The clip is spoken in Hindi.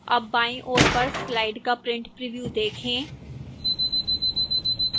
अब बाईं ओर पर slide का print preview देखें